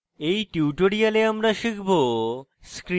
in tutorial আমরা শিখব: